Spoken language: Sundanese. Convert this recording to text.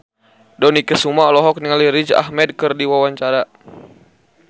Dony Kesuma olohok ningali Riz Ahmed keur diwawancara